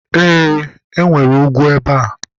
e, enwere ugwu ebe a